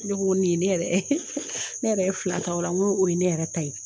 Ne ko nin ye ne yɛrɛ ne yɛrɛ fila taa ola n ko o ye ne yɛrɛ ta ye